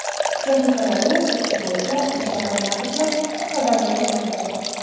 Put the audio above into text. Texnikalarni sotish bo‘yicha ishlar noyabrga qadar yakunlanadi.